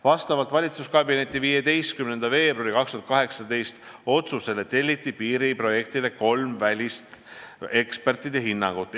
Vastavalt valitsuskabineti 15. veebruari 2018. aasta otsusele telliti piiriprojektile kolm välisekspertide hinnangut.